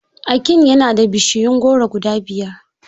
Akin yana da bishiyun goro guda biyar.